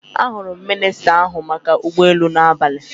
Ahụrụ m minista n'ahụ maka ụgbọelu n'abalị.